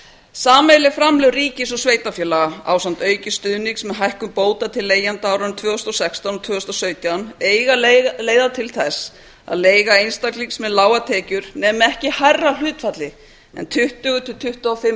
sameiginleg framlög ríkis og sveitarfélaga ásamt auknum stuðningi um hækkun bóta til leigjenda á árunum tvö þúsund og sextán til tvö þúsund og sautján eiga að leiða til þess að leiga einstaklings með lágar tekjur nemi ekki hærra hlutfalli en tuttugu til tuttugu og fimm